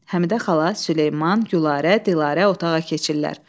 Həmidə xala, Süleyman, Gülarə, Dilarə otağa keçirlər.